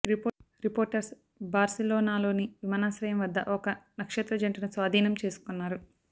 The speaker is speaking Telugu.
రిపోర్టర్స్ బార్సిలోనాలోని విమానాశ్రయం వద్ద ఒక నక్షత్ర జంటను స్వాధీనం చేసుకున్నారు